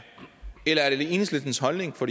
eller er det enhedslistens holdning for